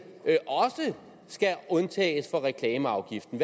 undtages fra reklameafgiften